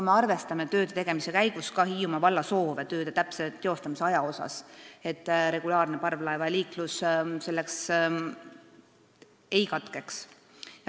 Me arvestame aga selle tegemise käigus ka Hiiumaa valla soove tööde täpse aja suhtes, et regulaarne parvlaevaliiklus selleks ajaks ei katkeks.